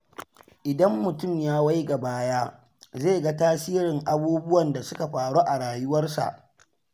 Idan mutum ya waiga baya, zai ga tasirin abubuwan da suka faru a rayuwarsa.